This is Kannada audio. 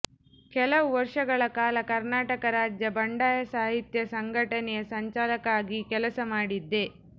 ಕೆಲವು ವರ್ಷಗಳ ಕಾಲ ಕರ್ನಾಟಕ ರಾಜ್ಯ ಬಂಡಾಯ ಸಾಹಿತ್ಯ ಸಂಘಟನೆಯ ಸಂಚಾಲಕ ಆಗಿ ಕೆಲಸ ಮಾಡಿದ್ದೆ